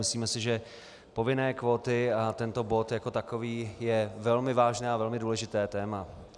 Myslíme si, že povinné kvóty a tento bod jako takový je velmi vážné a velmi důležité téma.